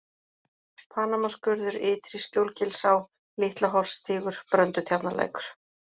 Panamaskurður, Ytri-Skjólgilsá, Litlaholtsstígur, Bröndutjarnarlækur